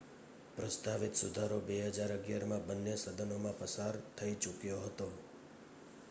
પ્રસ્તાવિત સુધારો 2011માં બન્ને સદનોમાં પસાર થઈ ચૂક્યો હતો